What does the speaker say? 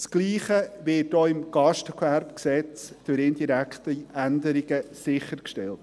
Dasselbe wird auch im GGG durch indirekte Änderungen sichergestellt.